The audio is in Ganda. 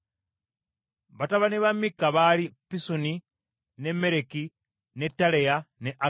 Batabani ba Mikka baali Pisoni, ne Mereki, ne Taleya ne Akazi.